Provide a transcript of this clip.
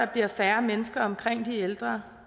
bliver færre mennesker omkring de ældre